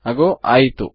ಅಗೋ ಆಯಿತು